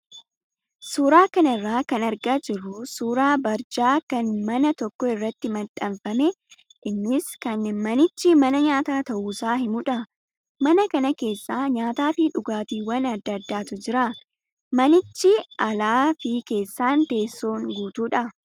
Suuraa kanarraa kan argaa jirru suuraa barjaa kan mana tokko irratti maxxanfame innis kan manichi mana nyaataa ta'uusaa himudha. Mana kana keessa nyaataa fi dhugaatiiwwan adda addaatuu jira. Manichis alaa fi keessaan teessoon guutuudha.